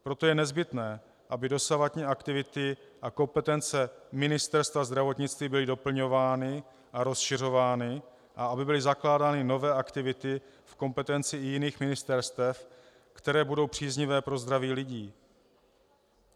Proto je nezbytné, aby dosavadní aktivity a kompetence Ministerstva zdravotnictví byly doplňovány a rozšiřovány a aby byly zakládány nové aktivity v kompetenci i jiných ministerstev, které budou příznivé pro zdraví lidí.